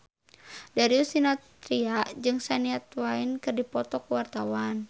Darius Sinathrya jeung Shania Twain keur dipoto ku wartawan